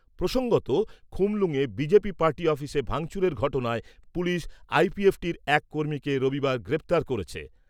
প্রসঙ্গত, থুমুলুঙে BJP party অফিসে ভাঙচুরের ঘটনায় পুলিশ আইপিএফটির এক কর্মীকে রবিবার গ্রেফতার করেছে।